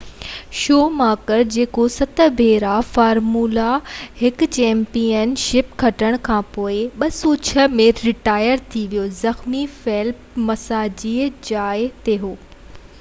show ماڪر جيڪو 7 ڀيرا formula 1 championship کٽڻ کانپوءِ 2006 ۾ رٽائر ٿي ويو زخمي فيلپ مسا جي جاءِ تي هو